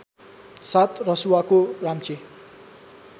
साथ रसुवाको राम्चे